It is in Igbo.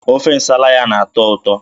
Ofe Nsala ya na-atọ ụtọ